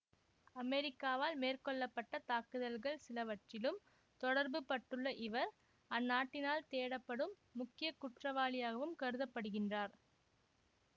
அமெரிக்காவால் மேற்கொள்ள பட்ட தாக்குதல்கள் சிலவற்றிலும் தொடர்புபட்டுள்ள இவர் அந்நாட்டினால் தேடப்படும் முக்கிய குற்றவாளியாகவும் கருத படுகின்றார்